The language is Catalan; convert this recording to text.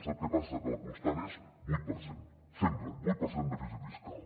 sap què passa que la constant és vuit per cent sempre vuit per cent de dèficit fiscal